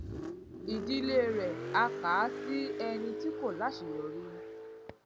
ìdílé rè á kà á sí ẹni tí kò láṣeyọrí